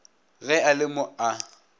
ge a le mo a